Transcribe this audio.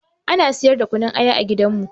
Ana siyar da kunun aya a gidanmu